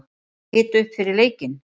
Hita upp fyrir leikinn?